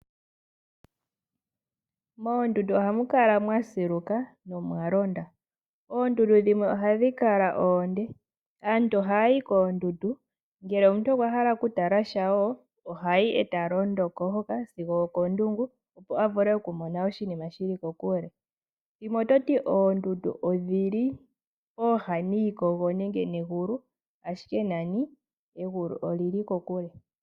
Moondundu ohamu kala mwasiluka nomwalonda. Oondundu dhimwe ohadhi kala oonde. Aantu ohayayi koondundu ngele omuntu okwa hala okutala sha wo, ohayi eta londoko woo sigo okondungu opo avule okumona oshinima shili kokule . Ethimbo limwe ototi oondundu odhili kooha niikogo ashike nani egulu olili kokule.